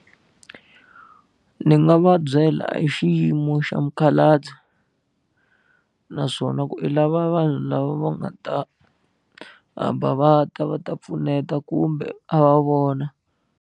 Ni nga va byela hi xiyimo xa mukhalabye naswona ku i lava vanhu lava va nga ta hamba va ta va ta pfuneta kumbe a va vona.